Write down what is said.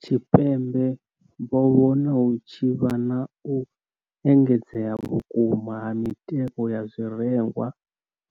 Tshipembe vho vhona hu tshi vha na u engedzea vhukuma ha mitengo ya zwirengwa